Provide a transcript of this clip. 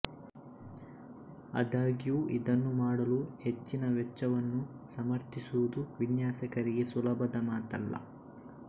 ಆದಾಗ್ಯೂ ಇದನ್ನು ಮಾಡಲು ಹೆಚ್ಚಿನ ವೆಚ್ಚವನ್ನು ಸಮರ್ಥಿಸುವುದು ವಿನ್ಯಾಸಕರಿಗೆ ಸುಲಭದ ಮಾತಲ್ಲ